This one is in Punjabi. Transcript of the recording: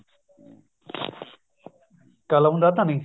ਕ਼ਲਮ ਦਾ ਧਨੀ